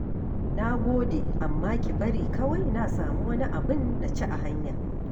Na gode, amma ki bari kawai na samu wani abin na ci a hanya